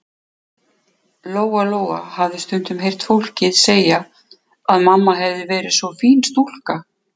Lóa-Lóa hafði stundum heyrt fólk segja að mamma hefði verið svo fín stúlka.